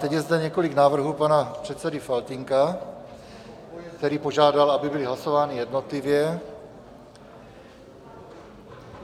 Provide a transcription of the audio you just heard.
Teď je zde několik návrhů pana předsedy Faltýnka, který požádal, aby byly hlasovány jednotlivě.